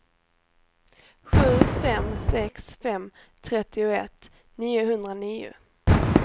sju fem sex fem trettioett niohundranio